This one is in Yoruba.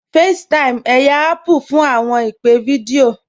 FaceTime, ẹyà Apple fún awọn ìpè̩ fídíọ̀